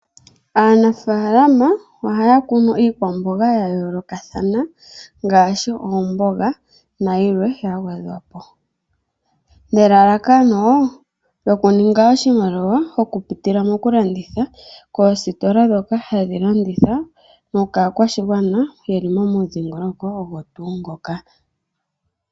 Aanafaalama ohaya kunu iikwamboga ya yoolokathana ngaashi oomboga nayilwe ya gwedhwapo. Nelalakano lyokuninga oshimaliwa oku pitila mokulanditha koositola dhoka hadhi landitha, nokaakwashigwana yeli momudhingoloko ogo tuu ngoka.